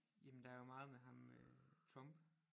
Jamen der jo meget med ham øh Trump